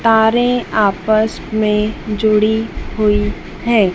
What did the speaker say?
तारें आपस में जुड़ी हुई हैं।